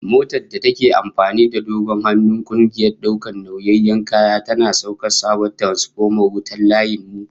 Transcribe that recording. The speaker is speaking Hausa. Motar da take amfani da dogon hannun kungiyar daukar nauyayan kaya, tana sauke sabon tiransfoman wuta na layin mu